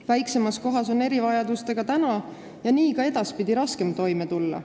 Väiksemas kohas on erivajadustega praegu ja ka edaspidi raskem toime tulla.